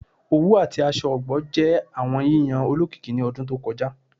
Owu ati aṣọ ọgbọ jẹ awọn yiyan olokiki ni ọdun to kọja